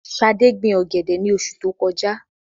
Ṣadé gbin ọ̀gẹ̀dẹ̀ ní oṣu tó kọjá.